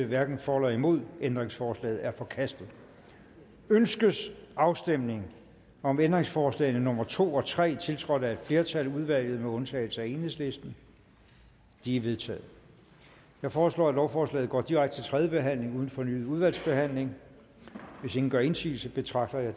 hverken for eller imod stemte ændringsforslaget er forkastet ønskes afstemning om ændringsforslagene nummer to og tre tiltrådt af et flertal i udvalget med undtagelse af enhedslisten de er vedtaget jeg foreslår at lovforslaget går direkte til tredje behandling uden fornyet udvalgsbehandling hvis ingen gør indsigelse betragter jeg